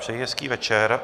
Přeji hezký večer.